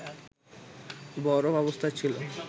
বরফ অবস্থায় ছিল